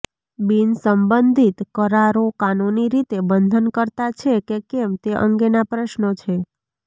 બિનસંબંધિત કરારો કાનૂની રીતે બંધનકર્તા છે કે કેમ તે અંગેના પ્રશ્નો છે